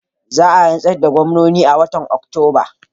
Za a rantsar da gwamnoni a watan Oktoba.